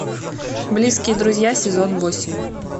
близкие друзья сезон восемь